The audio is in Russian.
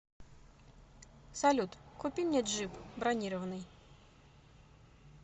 салют купи мне джип бронированный